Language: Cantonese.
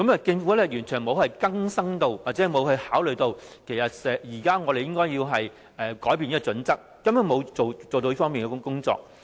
政府完全沒有更新這項準則，亦沒有考慮其實我們現時應該要改變這項準則，它根本沒有做這方面的工作。